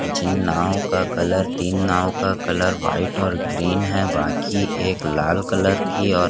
जिन नाव का कलर तीन नाव का कलर व्हाइट और ग्रीन है बाकी एक लाल कलर की और--